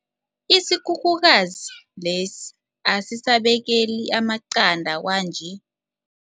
Isikhukhukazi lesi asisabekeli amaqanda kwanje.